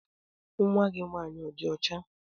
Nwa gị nwaanyị ọ dị ọcha?